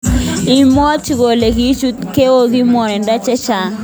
Ibwoti kole kichut go eng ngwonindo chechang.